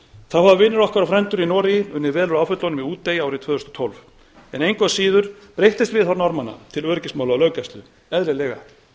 þá hafa vinir okkar og frændur í noregi unnið vel úr áföllunum í útey árið tvö þúsund og tólf en engu að síður breyttist viðhorf norðmanna til öryggismála og löggæslu eðlilega